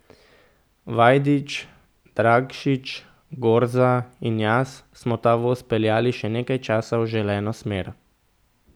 Vajdič, Dragšič, Gorza in jaz smo ta voz peljali še nekaj časa v želeno smer.